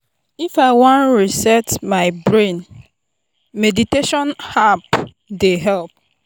if i wan reset my my brain meditation app dey help.